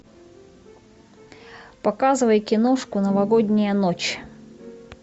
показывай киношку новогодняя ночь